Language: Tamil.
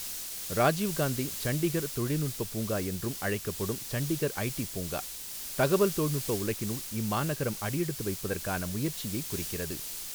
ராஜீவ் காந்தி சண்டிகர் தொழில்நுட்ப பூங்கா என்றும் அழைக்கப்படும் சண்டிகர் ஐடி பூங்கா, தகவல் தொழில்நுட்ப உலகினுள் இம்மாநகரம் அடியெடுத்து வைப்பதற்கான முயற்சியைக் குறிக்கிறது.